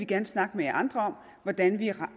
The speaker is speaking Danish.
gerne snakke med jer andre om hvordan vi